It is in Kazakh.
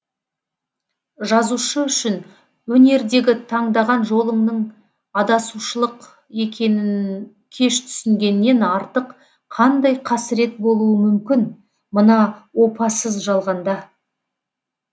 жазушы үшін өнердегі таңдаған жолыңның адасушылық екенін кеш түсінгеннен артық қандай қасірет болуы мүмкін мына опасыз жалғанда